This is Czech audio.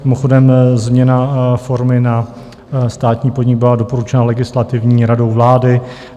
Mimochodem, změna formy na státní podnik byla doporučena Legislativní radou vlády.